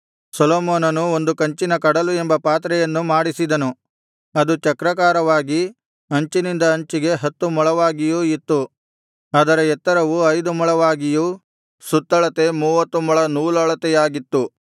ಸೊಲೊಮೋನನು ಒಂದು ಕಂಚಿನ ಕಡಲು ಎಂಬ ಪಾತ್ರೆಯನ್ನು ಮಾಡಿಸಿದನು ಅದು ಚಕ್ರಾಕಾರವಾಗಿ ಅಂಚಿನಿಂದ ಅಂಚಿಗೆ ಹತ್ತು ಮೊಳವಾಗಿಯೂ ಇತ್ತು ಅದರ ಎತ್ತರವು ಐದು ಮೊಳವಾಗಿಯೂ ಸುತ್ತಳತೆ ಮೂವತ್ತು ಮೊಳ ನೂಲಳತೆಯಾಗಿತ್ತು